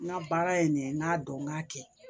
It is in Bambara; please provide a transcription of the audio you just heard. N ka baara ye nin ye n k'a dɔn n k'a kɛ